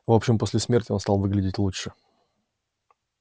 в общем после смерти он стал выглядеть лучше